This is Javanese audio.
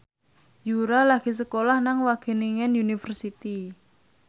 Yura lagi sekolah nang Wageningen University